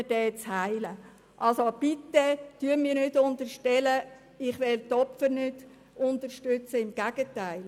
Unterstellen Sie mir also bitte nicht, ich wolle die Opfer nicht unterstützen – im Gegenteil.